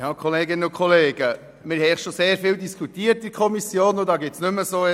Wir haben in der Kommission bereits sehr lange diskutiert.